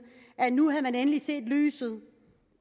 at nu havde man endelig set lyset